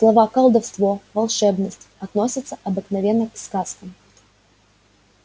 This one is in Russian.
слова колдовство волшебность относятся обыкновенно к сказкам